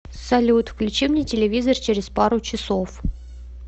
салют включи мне телевизор через пару часов